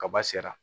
Kaba sera